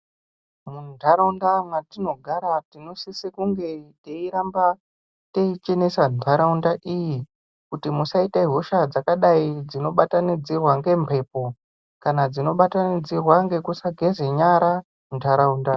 Mundaraunda mwatinogara tinosise kunge teichenesa ndaraunda iyi kuti musaite hosha dzakadai dzinobatanidzirwe ngembepo kana dzinobatanidzirwa ngekusageze nyara mundaraunda.